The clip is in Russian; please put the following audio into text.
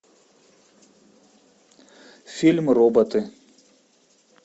фильм роботы